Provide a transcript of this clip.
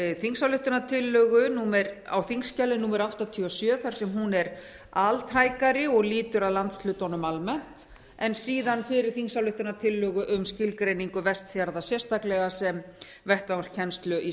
þingsályktunartillögu á þingskjali númer áttatíu og sjö þar sem hún er altækari og lýtur að landshlutunum almennt en síðan fyrir þingsályktunartillögu um skilgreiningu vestfjarða sérstaklega sem vettvang kennslu í